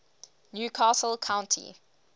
new castle county